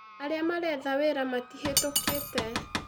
Arĩa maretha wĩra matihetũkĩte